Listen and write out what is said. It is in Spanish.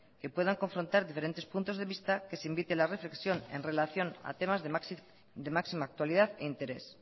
que puedan confrontar diferentes puntos de vista que se invite a la reflexión en relación a temas de máxima actualidad e interés